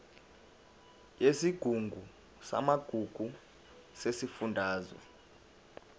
yesigungu samagugu sesifundazwe